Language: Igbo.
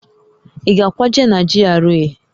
Ị ga-akwaje na GRA?